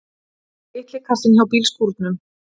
Litli kassinn hjá bílskúrunum!